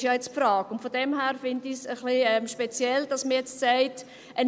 Das ist ja jetzt die Frage, und von daher finde ich es ein bisschen speziell, dass man jetzt sagt: